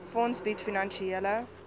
fonds bied finansiële